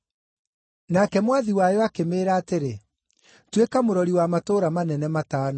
“Nake mwathi wayo akĩmĩĩra atĩrĩ, ‘Tuĩka mũrori wa matũũra manene matano.’